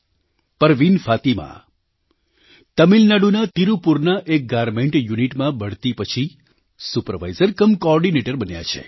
પરવીન ફાતિમા તમિલનાડુના તીરુપુરના એક ગારમેન્ટ યુનિટમાં બઢતી પછી સુપરવાઇઝર કમ કૉઑર્ડિનેટર બન્યા છે